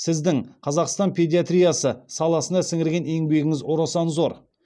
сіздің қазақстан педиатриясы саласына сіңірген еңбегіңіз орасан зор